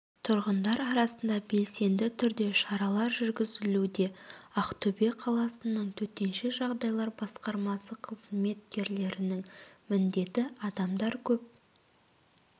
тұрғындар арасында белсенді түрде шаралар жүргізілуде ақтөбе қаласының төтенше жағдайлар басқармасы қызметкерлерінің міндеті адамдар көп